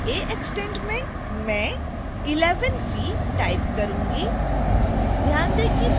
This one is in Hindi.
field a extentमें मैं 11 v type करूंगी